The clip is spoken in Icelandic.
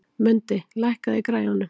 Mundi, lækkaðu í græjunum.